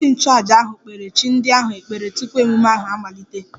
Onyeisi nchụaja ahụ kpere chi ndị ahụ ekpere tupu ememme ahụ amalite